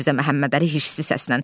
Yenə Mirzə Məhəmmədəli hirslə səslənir.